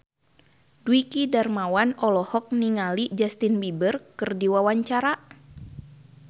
Dwiki Darmawan olohok ningali Justin Beiber keur diwawancara